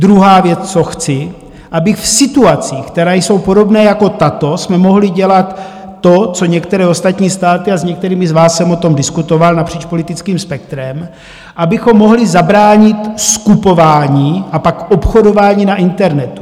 Druhá věc, co chci, aby v situacích, které jsou podobné jako tato, jsme mohli dělat to, co některé ostatní státy, a s některými z vás jsem o tom diskutoval napříč politickým spektrem, abychom mohli zabránit skupování a pak obchodování na internetu.